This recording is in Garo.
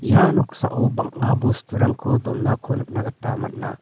ia noksao banga bosturangko donako nikna gita man·a.